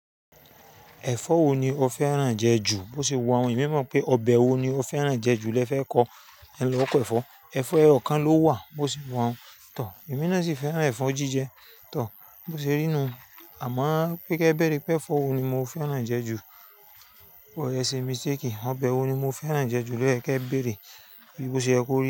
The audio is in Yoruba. Ẹ̀fọ́ wo ni o fẹ́ràn jẹ ju? Bo ṣe wá hun ẹ̀mí mọ̀ pé ọbẹ̀ wo ni o fẹ́ràn jẹ ju lẹ fẹ́ kó ẹ lọ kọ ẹfọ. Ẹ̀fọ́ ẹyọ kan ló wà, bo ṣe wọ̀ún tọ̀. Ẹ̀mí náà sì fẹ́ràn ẹ̀fọ́ jíjẹ tọ̀, bo ṣe rí nu. Àmọ́ pé kíẹ bẹ́rẹ pẹ́, ẹ̀fọ́ wo ni mo fẹ́ràn jẹ ju? O yẹ sé mistake. Ọbẹ̀ wo ni mo fẹ́ràn jẹ ju lẹ kí ẹ bẹ́rẹ. Bíbo ṣe ẹ kó rí.